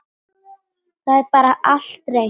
Það er bara allt reynt.